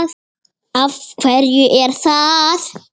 Af hverju er það?